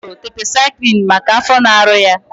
Ọ ṅụrụ tetrasaịklin maka afọ na-arụ ya.